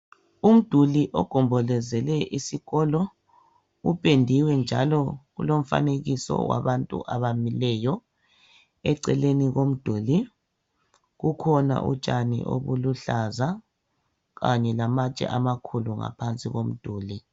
Umduli ogombolozele isikolo .Upendiwe njalo ulomfanekiso wabantu abamileyo Eceleni komduli kukhona utshani obuluhlaza .Kanye lamatshe amakhulu ngaphansi komduli .